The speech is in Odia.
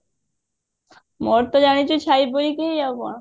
ମୋର ତ ଜାଣିଛୁ ଛାଇ ପରି କି ଆଉ କଣ